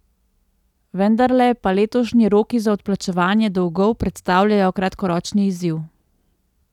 Vendarle pa letošnji roki za odplačevanje dolgov predstavljajo kratkoročni izziv.